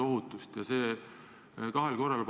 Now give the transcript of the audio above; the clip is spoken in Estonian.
See paistis välja kahel korral.